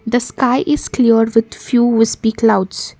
The sky is cleared with few whispy clouds.